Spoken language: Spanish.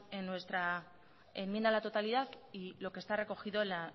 en nuestra enmienda a la totalidad y lo que está recogido en la